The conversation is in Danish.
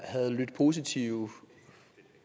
havde lydt positive